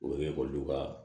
O ye ekɔli ka